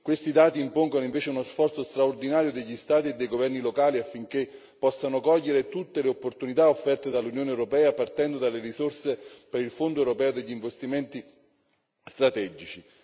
Questi dati impongono, invece, uno sforzo straordinario degli Stati e dei governi locali affinché possano cogliere tutte le opportunità offerte dall'Unione europea, partendo dalle risorse del Fondo europeo per gli investimenti strategici.